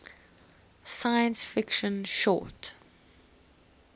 science fiction short